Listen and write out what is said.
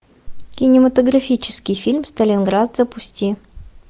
кинематографический фильм сталинград запусти